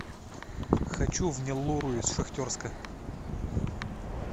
хочу в неллуру из шахтерска